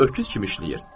Hamı öküz kimi işləyir.